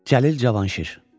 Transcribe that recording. Cəlil Cavanşir.